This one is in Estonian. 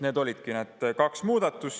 Need olidki need kaks muudatust.